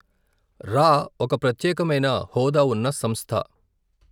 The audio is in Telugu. రా ఒక ప్రత్యేకమైన హోదా ఉన్న సంస్థ.